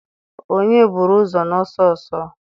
onye buru ụzọ n'ọsọ ọsọ ọsọ?